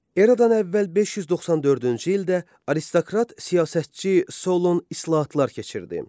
Eradan əvvəl 594-cü ildə aristokrat siyasətçi Solon islahatlar keçirdi.